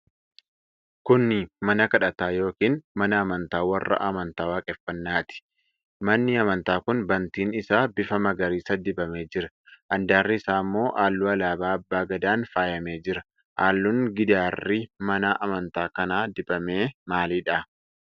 Kuni mana kadhataa yookiin mana amantaa warra amantaa waaqeffannaati. Manni amantaa kun bantiin isaa bifa magariisa dibamee jira. Handaarri isaa ammoo halluu alaabaa abbaa gadaan faayamee jira. Halluun gidaarri mana amantaa kanaa dibame maalidha?